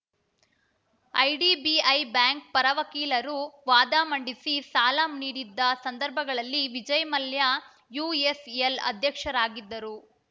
IDBI bank ಪರ ವಕೀಲರು ವಾದ ಮಂಡಿಸಿ ಸಾಲ ನೀಡಿದ್ದ ಸಂದರ್ಭದಲ್ಲಿ ವಿಜಯ್‌ ಮಲ್ಯ ಯುಎಸ್‌ಎಲ್‌ ಅಧ್ಯಕ್ಷರಾಗಿದ್ದರು